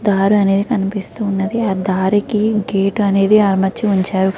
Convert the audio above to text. ఒక దారి అనేది కనిపిస్తూ ఉన్నది ఆ దారికి గేటు అనేది అమర్చారు.